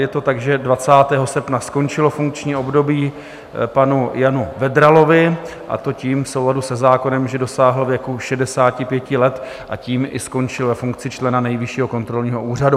Je to tak, že 20. srpna skončilo funkční období panu Janu Vedralovi, a to v souladu se zákonem, že dosáhl věku 65 let a tím i skončil ve funkci člena Nejvyššího kontrolního úřadu.